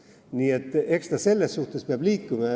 Nii et eks ta selle poole peab liikuma.